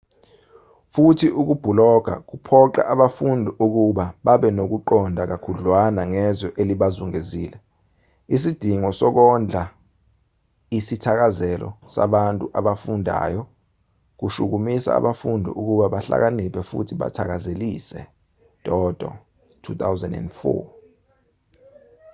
futhi ukubhuloga kuphoqa abafundi ukuba babenokuqonda kakhudlwana ngezwe elibazungezile. isidingo sokondla isithakazelo sabantu abafundayo kushukumisa abafundi ukuba bahlakaniphe futhi bathakazelise toto 2004